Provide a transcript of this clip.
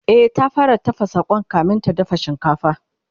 E, ta fara tafasa Kwan kamin ta dafa shinkafa